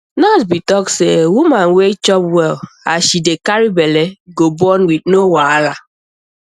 nurse be talk say woman wey chop well as she dey carry belle go born with no wahala